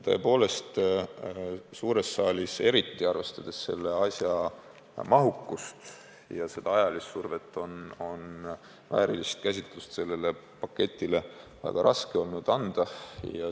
Tõepoolest, suures saalis, eriti arvestades selle asja mahukust ja ajalist survet, on sellele paketile olnud väärilist käsitlust väga raske võimaldada.